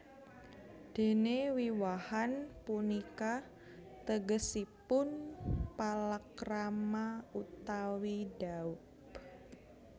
Déné Wiwahan punika tegesipun palakrama utawi dhaup